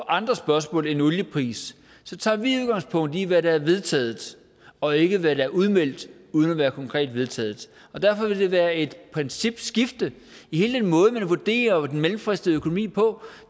andre spørgsmål end olieprisen tager vi udgangspunkt i hvad der er vedtaget og ikke i hvad der er udmeldt uden at være konkret vedtaget derfor vil det være et principskifte i hele den måde man vurderer den mellemfristede økonomi på